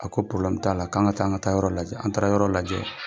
A ko t'a la k'an ka taa an ka taa yɔrɔ lajɛ, an taara yɔrɔ lajɛ.